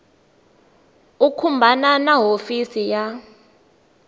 u khumbana na hofisi ya